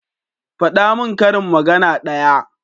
Fada min karin magana ɗaya